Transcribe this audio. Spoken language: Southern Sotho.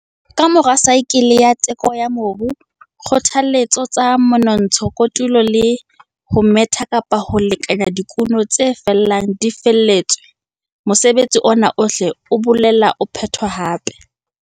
Ka mora saekele ya teko ya mobu, dikgothaletso tsa menontsha, kotulo le ho metha kapa ho lekanya dikuno tse felang di fihlelletswe, mosebetsi ona ohle o boela o phetwa hape.